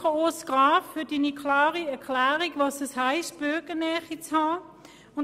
Danke, Grossrat Graf, für Ihre klare Erklärung dessen, was es heisst, Bürgernähe zu haben.